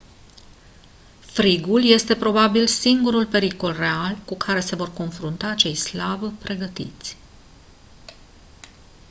frigul este probabil singurul pericol real cu care se vor confrunta cei slab pregătiți